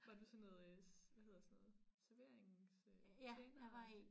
Var du sådan noget øh hvad hedder sådan noget servering øh tjener og